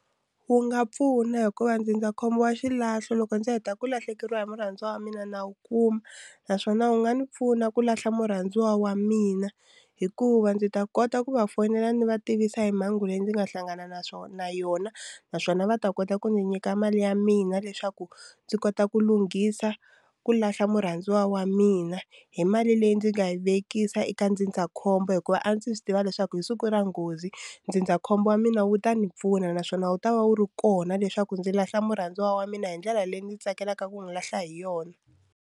Wu nga pfuna hikuva ndzindzakhombo wa xilahlo loko ndzi heta ku lahlekeriwa hi murhandziwa wa mina na wu kuma naswona wu nga ni pfuna ku lahla murhandziwa wa mina hikuva ndzi ta kota ku va fonela ndzi va tivisa hi mhangu leyi ndzi nga hlangana na na yona naswona va ta kota ku ndzi nyika mali ya mina leswaku ndzi kota ku lunghisa ku lahla murhandziwa wa mina hi mali leyi ndzi nga yi vekisa eka ndzindzakhombo hikuva a ndzi swi tiva leswaku hi siku ra nghozi ndzindzakhombo wa mina wu ta ni pfuna naswona wu ta va wu ri kona leswaku ndzi lahla murhandziwa wa mina hi ndlela leyi ndzi tsakelaka ku n'wi lahla hi yona.